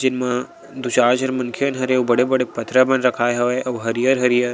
जेन म दु चार झन मनखे धरे हे अऊ बड़े-बड़े पथरा मन रखाए हवय अऊ हरियर-हरियर--